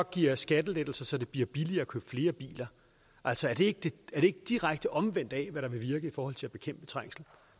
giver skattelettelser så det bliver billigere at købe flere biler altså er det ikke det direkte omvendte af hvad der vil virke i forhold til at bekæmpe trængsel